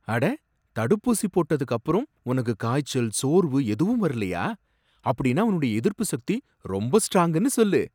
அட! தடுப்பூசி போட்டதுக்கு அப்புறம் உனக்கு காய்ச்சல், சோர்வு எதுவும் வரலையா? அப்படினா உன்னுடைய எதிர்ப்பு சக்தி ரொம்ப ஸ்ட்ராங்குன்னு சொல்லு!